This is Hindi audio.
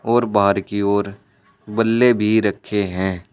और बाहर की ओर बल्ले भी रखें है।